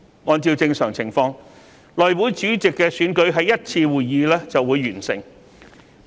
按照正常情況，內會主席選舉在1次會議便會完成。